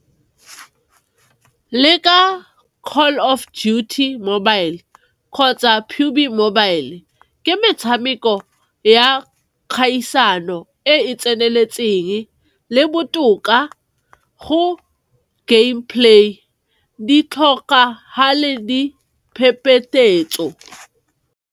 Le ka Call of Dutyt mobile, kgotsa mobile, ke metshameko ya kgaisano e e tseneletseng le botoka go game play di .